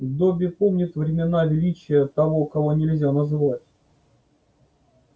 добби помнит времена величия того кого нельзя называть